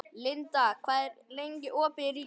Linda, hvað er lengi opið í Ríkinu?